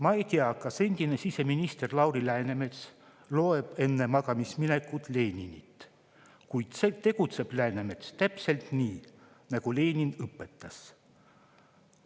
Ma ei tea, kas endine siseminister Lauri Läänemets loeb enne magamaminekut Leninit, kuid tegutseb Läänemets täpselt nii, nagu Lenin õpetas.